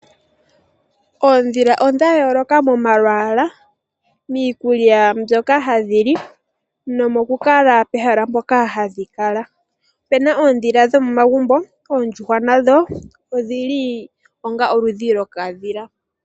Oondhila odha yooloka momalwaala, miikulya mbyoka hadhi li nomokukala pehala mpoka hadhi kala. Opena oondhila dhomomagumbo. Oondjuhwa nadho odhili onga oludhi lwokadhila.